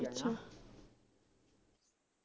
ਅੱਛਾ